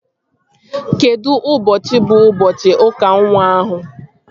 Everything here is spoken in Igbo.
Kedụ ụbọchị bụ ụbọchị ụka nwa ahụ?